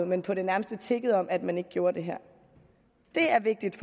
men på det nærmeste tiggede om at man ikke gjorde det her det er vigtigt